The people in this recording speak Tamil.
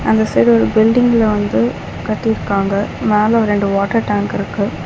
அந்த சைடு ஒரு பில்டிங்ல வந்து கட்டிருக்காங்க மேல ரெண்டு வாட்டர் டேங்க் இருக்கு.